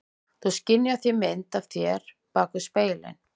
Þú skynjar því mynd af þér bak við spegilinn.